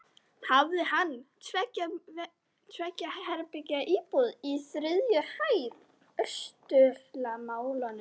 Hafði hann tveggja herbergja íbúð á þriðju hæð austurálmunnar.